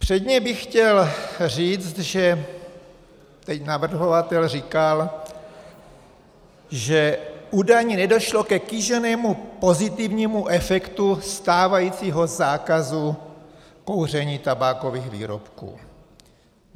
Předně bych chtěl říct, že... teď navrhovatel říkal, že údajně nedošlo ke kýženému pozitivnímu efektu stávajícího zákazu kouření tabákových výrobků.